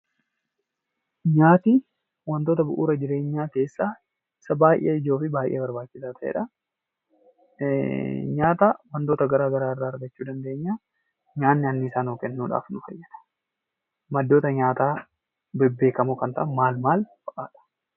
Nyaanni wantoota bu'uura jireenyaa keessaa isa baay'ee ijoo fi baay'ee barbaachisaa ta'eedha. Nyaata wantoota garaagaraa irraa argachuu dandeenya. Nyaanni anniisaa nuu kennuudhaaf nu fayyada. Maddoota nyaataa bebbeekamoo kan ta'an maal maalfaa dha?